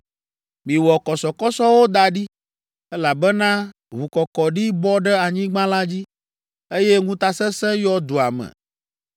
“ ‘Miwɔ kɔsɔkɔsɔwo da ɖi, elabena ʋukɔkɔɖi bɔ ɖe anyigba la dzi, eye ŋutasesẽ yɔ dua me.